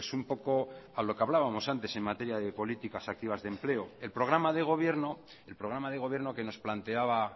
un poco a lo que hablábamos antes en materia de políticas activas de empleo el programa de gobierno el programa de gobierno que nos planteaba